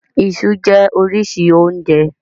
Iṣú jẹ́ oríṣi oúnjẹ.